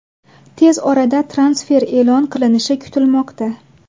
Tez orada transfer e’lon qilinishi kutilmoqda.